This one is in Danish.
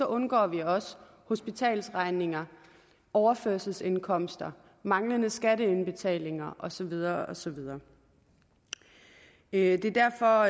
undgår vi også hospitalsregninger overførselsindkomster manglende skatteindbetalinger og så videre og så videre det er derfor